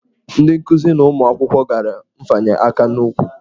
Ndị nkuzi na ụmụ akwụkwọ gara nfanye aka n'ụkwụ.